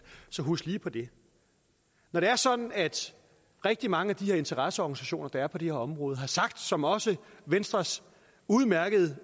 husk lige på det når det er sådan at rigtig mange af de interesseorganisationer der er på de her områder har sagt som også venstres udmærkede